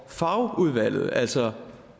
fagudvalget altså